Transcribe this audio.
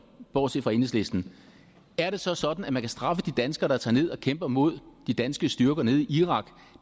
bortset fra enhedslisten er det så sådan at man kan straffe de danskere der tager ned og kæmper imod de danske styrker nede i irak